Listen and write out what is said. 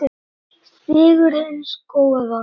Sigur hins góða.